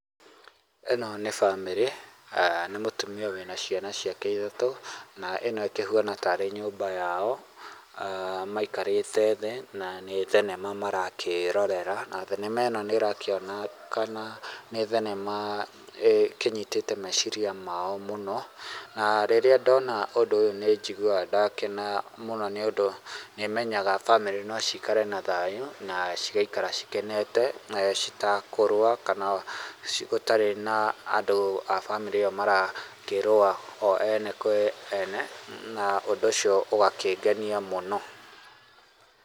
Ĩno nĩ bamĩrĩ eeh na nĩ mũtumia wĩna ciana ciake ithatũ na ĩno ĩkĩhuana ta nyũmba yao maikarĩte thĩ na nĩ thenema marakĩrorera, na thĩna nĩrakĩonekana nĩ thenema ĩkĩnyitĩte meciria mao mũno na rĩrĩa ndona ũndũ ũyũ nĩ njiguaga ndakena mũno nĩ ũndũ nĩ menyaga bamĩrĩ nocikare na thayũ na cigaikara cikenete citekũrũa kana gũtarĩ na andũ a bamĩrĩ ĩyo marakĩrũa o ene kwĩ ene na ũndũ ũcio ũgakĩngenia mũno.